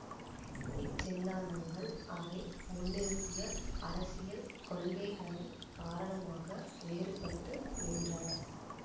இச்சிந்தாந்தங்கள் அவை முன்னிறுத்திய அரசியல் கொள்கைகளின் காரணமாக வேறுபட்டு நின்றன